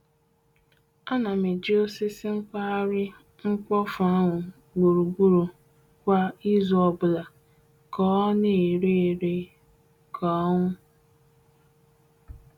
Ana m eji osisi kpahari mkpofu ahu gburugburu kwa izu obula, ka ona ere ere ka onu.